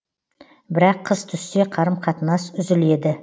бірақ қыс түссе қарым қатынас үзіледі